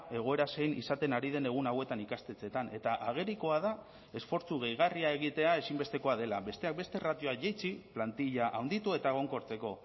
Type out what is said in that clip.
egoera zein izaten ari den egun hauetan ikastetxeetan eta agerikoa da esfortzu gehigarria egitea ezinbestekoa dela besteak beste erratioak jaitsi plantilla handitu eta egonkortzeko